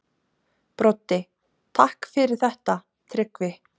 Broddi: Takk fyrir þetta Tryggvi.